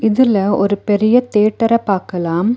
இதுல ஒரு பெரிய தியேட்டர பாக்கலாம்.